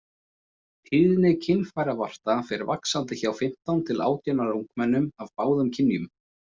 Tíðni kynfæravarta fer vaxandi hjá fimmtán til átján ára ungmennum af báðum kynjum.